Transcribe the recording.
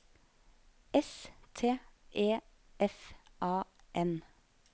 S T E F A N